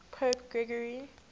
pope gregory